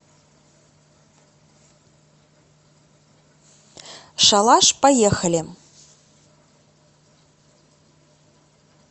шалаш поехали